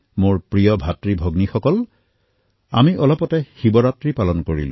মোৰ মৰমৰ ভাতৃভগ্নীসকল অলপতে আমি শিৱৰাত্ৰী মহোৎসৱ পালন কৰিলো